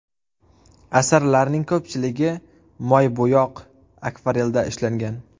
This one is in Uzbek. Asarlarning ko‘pchiligi moybo‘yoq, akvarelda ishlangan.